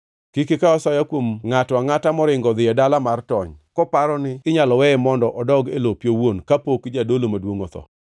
“ ‘Kik ikaw asoya kuom ngʼato angʼata moringo odhi e dala mar tony koparo ni inyalo weye mondo odog e lope owuon kapok jadolo maduongʼ otho.